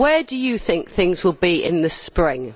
Where do you think things will be in the spring?